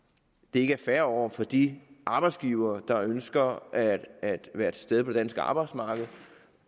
er fair over for de arbejdsgivere der ønsker at være til stede på det danske arbejdsmarked